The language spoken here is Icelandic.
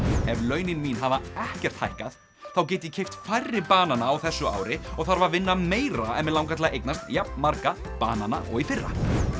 ef launin mín hafa ekkert hækkað þá get ég keypt færri banana á þessu ári og þarf að vinna meira ef mig langar til að eignast jafnmarga banana og í fyrra